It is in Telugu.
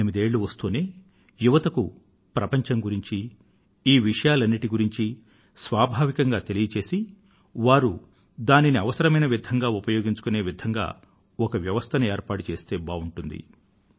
పద్దెనిమిదేళ్ళు వస్తూనే యువతకు ప్రపంచం గురించీ ఈ విషయాలన్నింటి గురించీ స్వాభావికంగా తెలియచేసి వారు దానిని అవసరమైన విధంగా ఉపయోగించుకొనే విధంగా ఒక వ్యవస్థను ఏర్పాటు చేస్తే బావుంటుంది